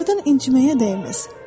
Onlardan inciməyə dəyməz.